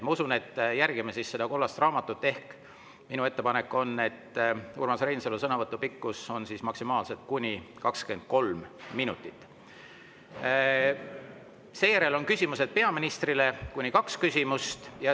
Ma usun, et järgime kollast raamatut, ehk minu ettepanek on, et Urmas Reinsalu sõnavõtu pikkus on maksimaalselt 23 minutit.